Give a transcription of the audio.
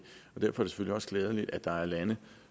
selvfølgelig også glædeligt at der er lande